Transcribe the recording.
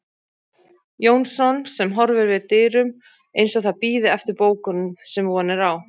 Jónsson, sem horfir við dyrum, eins og það bíði eftir bókunum, sem von er á.